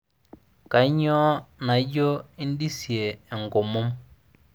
kanyio naijo indisie enkomom